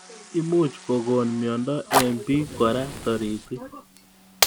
Imuch kokon myondo eng bik kora taritik